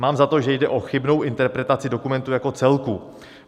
Mám za to, že jde o chybnou interpretaci dokumentu jako celku.